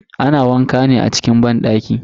Ana wanka ne a cikin banɗaki.